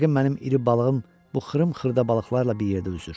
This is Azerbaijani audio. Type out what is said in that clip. Yəqin mənim iri balığım bu xırım-xırda balıqlarla bir yerdə üzür.